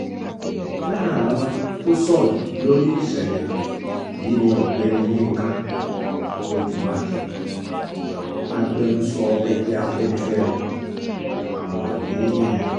lára àwọn tó sọ̀rọ̀ lórí ìṣẹ̀lẹ̀ yìí ni ọ̀gbẹ́ni yinka odù mákín agbẹnusọ ẹgbẹ́ afẹ́nifẹ́re àtàwọn mí-ín